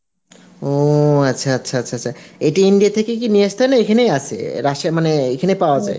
ও আচ্ছা আচ্ছা আচ্ছা আচ্ছা আচ্ছা ইটা India থেকেই কি নিয়ে আসতে হয় না এখানেই আসে এ মানে এখানেই পাওয়া